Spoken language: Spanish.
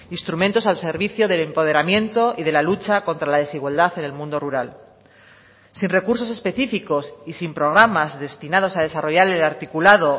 instrumentos al servicio del empoderamiento y de la lucha contra la desigualdad en el mundo rural sin recursos específicos y sin programas destinados a desarrollar el articulado